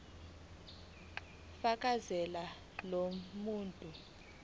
fakazela lo mbono